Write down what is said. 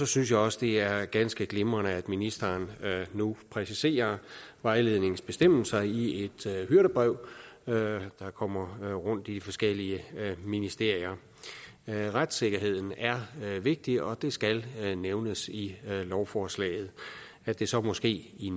synes jeg også det er ganske glimrende at ministeren nu præciser vejledningens bestemmelser i et hyrdebrev der kommer rundt i forskellige ministerier retssikkerheden er vigtig og det skal nævnes i lovforslaget at det så måske i